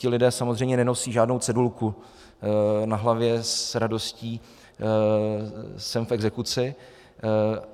Ti lidé samozřejmě nenosí žádnou cedulku na hlavě: s radostí jsem v exekuci.